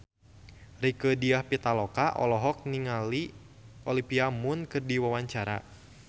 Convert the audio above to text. Rieke Diah Pitaloka olohok ningali Olivia Munn keur diwawancara